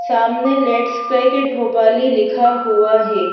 सामने let's cricket Bhopali लिखा हुआ है।